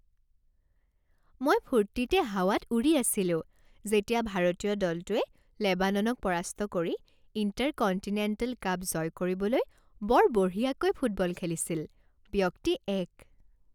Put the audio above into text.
মই ফূৰ্তিতে হাৱাত উৰি আছিলো যেতিয়া ভাৰতীয় দলটোৱে লেবাননক পৰাস্ত কৰি ইণ্টাৰকণ্টিনেণ্টেল কাপ জয় কৰিবলৈ বৰ বঢ়িয়াকৈ ফুটবল খেলিছিল। ব্যক্তি এক